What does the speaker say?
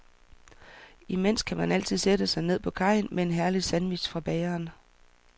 Imens kan man altid sætte sig ned på kajen med en herlig sandwich fra bageren.